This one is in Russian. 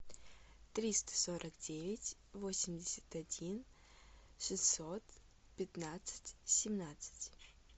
триста сорок девять восемьдесят один шестьсот пятнадцать семнадцать